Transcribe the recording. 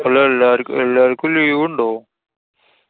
അല്ലാ. എല്ലാ~ എല്ലാവര്‍ക്കും leave ഉണ്ടോ?